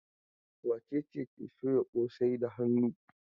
Wace ce ke soya kosai da hannu?